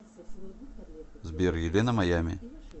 сбер елена маями